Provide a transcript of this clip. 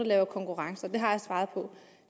laver konkurrencer det har jeg svaret på